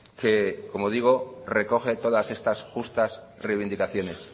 que como digo recoge todas estas justas reivindicaciones